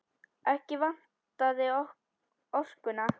Ekki vantaði orkuna.